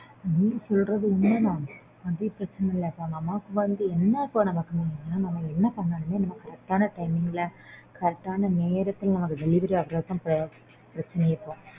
நீ சொல்றது உண்மைதான் அது பிரச்சனை இல்ல நமக்கு வந்து என்ன இப்போ நமக்கு வந்து என்னன்னா நம்ம என்ன பண்ணாலுமே நமக்கு correct ஆன timing ல correct ஆன நேரத்துல delivery ஆயிட்டா பிரச்சினை இல்ல